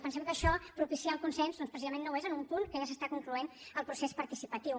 pensem que això propiciar el consens doncs precisament no ho és en un punt en què ja s’està concloent el procés participatiu